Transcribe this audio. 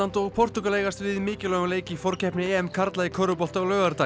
og Portúgal eigast við í mikilvægum leik í forkeppni karla í körfubolta á laugardag